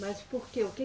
Mas por quê? O que